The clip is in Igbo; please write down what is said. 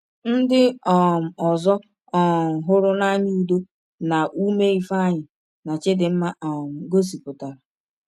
Ndị um ọzọ um hụrụ n’anya udo na ume Ifeanyi na Chidinma um gosipụtara.